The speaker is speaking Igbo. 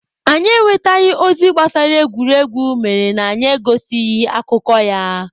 Anyị enwetaghị ozi gbasara egwuregwu mere na anyị egosighị akụkọ ya.